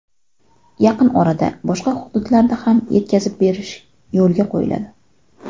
Yaqin orada boshqa hududlarda ham yetkazib berish yo‘lga qo‘yiladi.